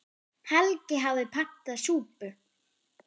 Helgi hafði pantað súpu.